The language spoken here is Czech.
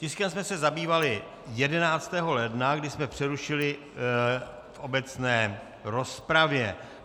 Tiskem jsme se zabývali 11. ledna, kdy jsme přerušili v obecné rozpravě.